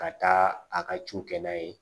Ka taa a ka ci kɛ n'a ye